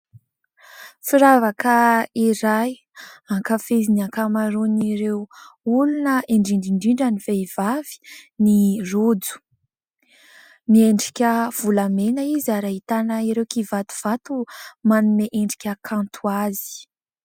Firavaka iray ankafizin'ny ankamaron'ireo olona indrindraindrindra ny vehivavy ny rojo. Miendrika volamena izy ary ahitana ireo kivatovato manome endrika kanto azy.